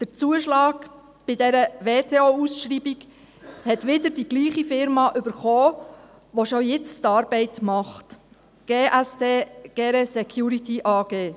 Den Zuschlag bei dieser WTO-Ausschreibung hat wieder dieselbe Firma erhalten, welche diese Arbeit bereits jetzt macht, die GSD Gayret Security AG (GSD).